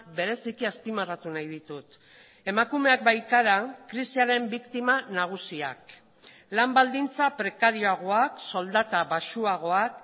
bereziki azpimarratu nahi ditut emakumeak baikara krisiaren biktima nagusiak lan baldintza prekarioagoak soldata baxuagoak